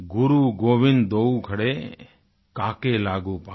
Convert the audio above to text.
गुरु गोविन्द दोऊ खड़े काके लागूं पांय